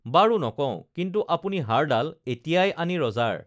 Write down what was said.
বাৰু নকওঁ কিন্তু আপুনি হাড়ডাল এতিয়াই আনি ৰজাৰ